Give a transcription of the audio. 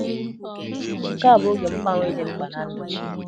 Nke a bụ oge mgbanwe dị mkpa ná ndụ m.